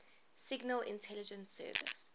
signal intelligence service